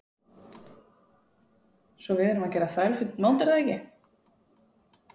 Svo við erum að gera þrælfínt mót er það ekki?